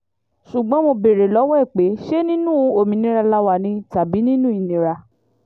ṣùgbọ́n mo béèrè lọ́wọ́ ẹ̀ pé ṣé nínú òmìnira la wà ni tàbí nínú ìnira